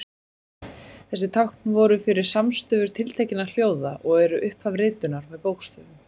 Þessi tákn voru fyrir samstöfur tiltekinna hljóða og eru upphaf ritunar með bókstöfum.